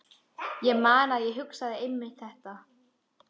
Ég man að ég hugsaði einmitt þetta.